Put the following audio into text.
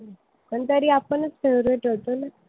पण तरी आपणच favorite होतो.